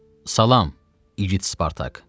Salam, igid Spartak.